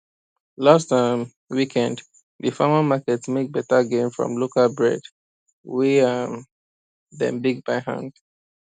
last um weekend di farmer market make better gain from local bread wey um dem bake by hand